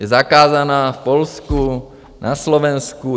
Je zakázaná v Polsku, na Slovensku.